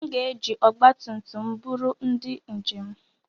M ga-eji ọgba tum tum m buru ndị njem.